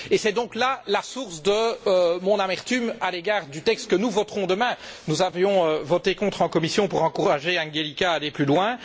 C'est donc là la source de mon amertume à l'égard du texte que nous voterons demain nous avions voté contre en commission pour encourager Angelika à aller plus loin.